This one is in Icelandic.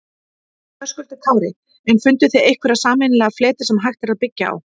Höskuldur Kári: En funduð þið einhverja sameiginlega fleti sem hægt er að byggja á?